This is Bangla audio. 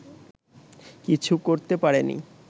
কিছু করতে পারেনি